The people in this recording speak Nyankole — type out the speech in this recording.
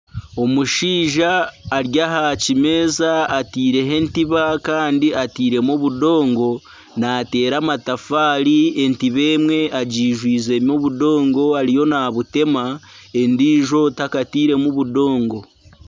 Omushaija ari aha kimeeza ataireho entiba kandi atairemu obudongo naateera amatafaari kandi entiba emwe agijwizemu obudongo ariyo naabuteema endiijo takatairemu budongo